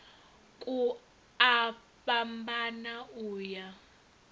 ku a fhambana u ya